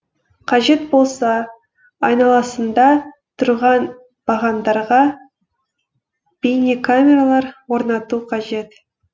қажет болса айналасында тұрған бағандарға бейнекамералар орнату қажет